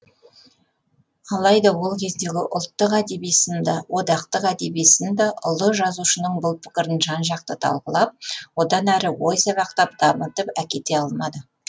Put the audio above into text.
алайда ол кездегі ұлттық әдеби сын да одақтық әдеби сын да ұлы жазушының бұл пікірін жан жақты талқылап одан әрі ой сабақтап дамытып әкете алмады